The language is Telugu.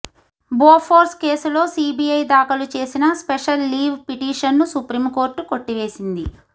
బోఫోర్స్ కేసులో సీబీఐ దాఖలు చేసిన స్పెషల్ లీవ్ పిటిషన్ను సుప్రీం కోర్టు కొట్టివేసింది